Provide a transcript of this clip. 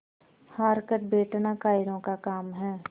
हार कर बैठना कायरों का काम है